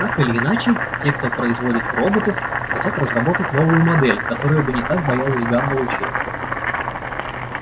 так или иначе те кто производит роботов хотят разработать новую модель которая бы не так боялась гамма-лучей